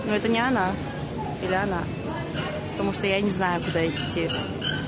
но это не она или она потому что я не знаю куда идти